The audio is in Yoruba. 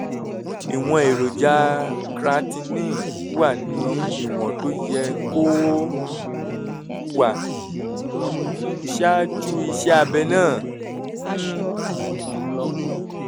ìwọ̀n èròjà creatinine wà ní ìwọ̀n tó yẹ kó um wà um ṣáájú iṣẹ́ abẹ náà um